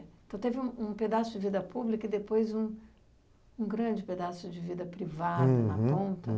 Então, teve um um pedaço de vida pública e, depois, um um grande pedaço de vida privada, uhum na ponta. Uhum